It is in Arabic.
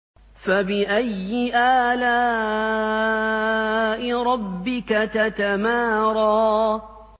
فَبِأَيِّ آلَاءِ رَبِّكَ تَتَمَارَىٰ